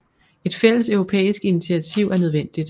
Et fælles europæisk initiativ er nødvendigt